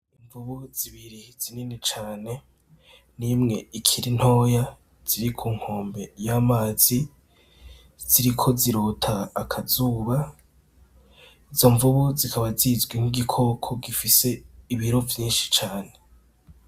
Imvubu zibiri zinini cane nimwe ikirintoya ziri ku nkombe y'amazi ziriko zirota akazuba izo mvubu zikaba zizwi nk'igikoko gifise ibiro vyinshi cane.